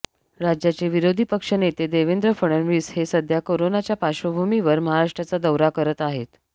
राज्याचे विरोधी पक्षनेते देवेंद्र फडणवीस हे सध्या कोरोनाच्या पार्श्वभूमीवर महाराष्ट्राचा दौरा करत आहेत